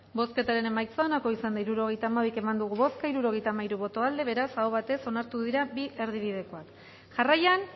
bozketaren emaitza onako izan da hirurogeita hamairu eman dugu bozka hirurogeita hamairu boto aldekoa beraz aho batez onartu dira bi erdibidekoak jarraian